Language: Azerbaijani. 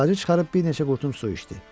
Tıxacı çıxarıb bir neçə qurtum su içdi.